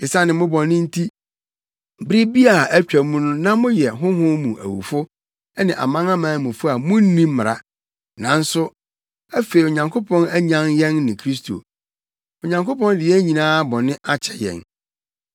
Esiane mo bɔne nti, bere bi a atwam no na moyɛ honhom mu awufo ne amanamanmufo a munni Mmara. Nanso afei Onyankopɔn anyan yɛn ne Kristo. Onyankopɔn de yɛn nyinaa bɔne akyɛ yɛn.